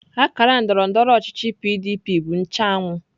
Akara otu ndọrọndọrọ ọchịchị PDP bụ nche anwụ.